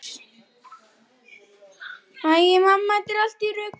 Herþrúður, hvaða vikudagur er í dag?